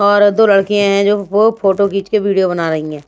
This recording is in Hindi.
और दो लड़के हैं जो फोटो खींच के वीडियो बना रही हैं।